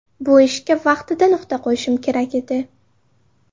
Bu ishga vaqtida nuqta qo‘yishim kerak edi.